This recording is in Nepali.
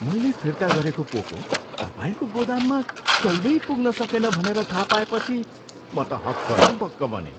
मैले फिर्ता गरेको पोको तपाईँको गोदाममा कहिल्यै पुग्न सकेन भनेर थाहा पाएपछि म त हक्क न बक्क बनेँ।